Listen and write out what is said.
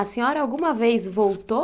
A senhora alguma vez voltou?